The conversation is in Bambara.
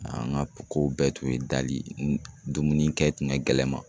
An ka kow bɛɛ tun ye dali, dumuni kɛ tun ka gɛlɛ n man.